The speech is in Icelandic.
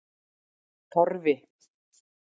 Torfi